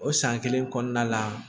O san kelen kɔnɔna la